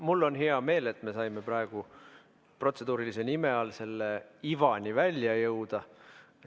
Mul on hea meel, et me saime praegu protseduurilise nime all selle ivani välja jõuda.